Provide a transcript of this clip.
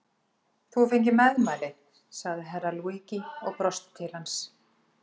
Þú hefur fengið meðmæli, sagði Herra Luigi og brosti til hans.